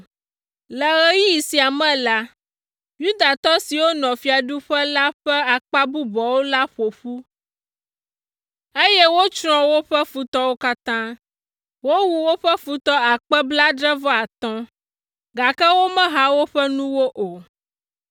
Le ɣeyiɣi sia me la, Yudatɔ siwo nɔ fiaɖuƒe la ƒe akpa bubuawo la ƒo ƒu, eye wotsrɔ̃ woƒe futɔwo katã. Wowu woƒe futɔ akpe blaadre-vɔ-atɔ̃ (75,000), gake womeha woƒe nuwo o.